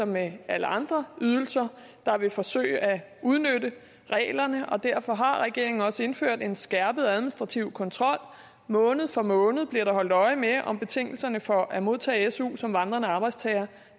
med alle andre ydelser der vil forsøge at udnytte reglerne og derfor har regeringen også indført en skærpet administrativ kontrol måned for måned bliver der holdt øje med om betingelserne for at modtage su som vandrende arbejdstager